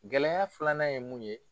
Gɛlɛya filanan ye mun ye.